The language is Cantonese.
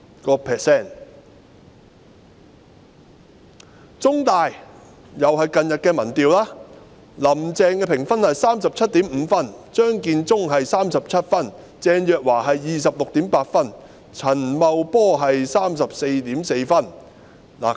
根據香港中文大學同樣在近日進行的民調，"林鄭"評分是 37.5 分，張建宗是37分，鄭若驊是 26.8 分，陳茂波是 34.4 分。